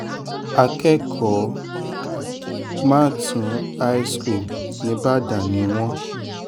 akẹ́kọ̀ọ́ màtún high school nígbàdàn ni wọ́n